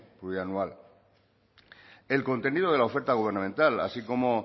plurianual el contenido de la oferta gubernamental así como